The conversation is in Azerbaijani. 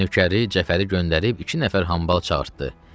Cəld nökəri Cəfəli göndərib iki nəfər hambal çağırdı.